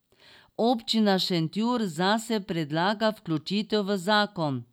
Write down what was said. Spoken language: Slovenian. Občina Šentjur zase predlaga vključitev v zakon.